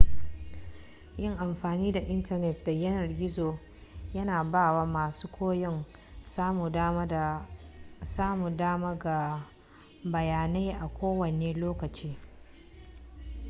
yin amfani da intanet da yanar gizo yana bawa masu koyon samun dama ga bayyanai a kowane lokaci